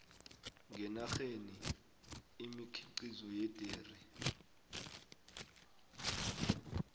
ngenarheni imikhiqizo yederi